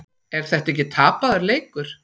Er þetta ekki tapaður leikur?